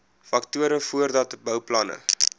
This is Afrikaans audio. faktore voordat bouplanne